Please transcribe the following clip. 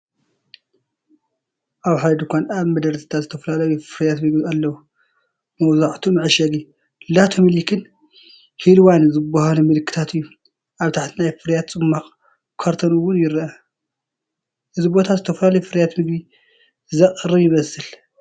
ኣብ ሓደ ድኳን ኣብ መደርደሪታት ዝተፈላለዩ ፍርያት ምግቢ ኣለዉ። መብዛሕትኡ መዐሸጊ "LATO MILK"ን "HILWA"ን ዝበሃሉ ምልክታት እዩ። ኣብ ታሕቲ ናይ ፍረታት ጽማቝ ካርቶን እውን ይርአ። እዚ ቦታ ዝተፈላለዩ ፍርያት መግቢ ዘቕርብ ይመስል።